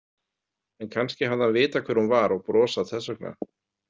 En kannski hafði hann vitað hver hún var og brosað þess vegna.